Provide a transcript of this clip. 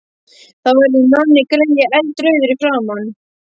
Þá verður Nonni greyið eldrauður í framan.